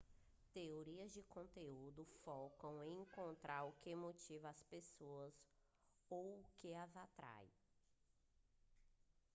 teorias de conteúdo focam em encontrar o que motiva as pessoas ou o que as atrai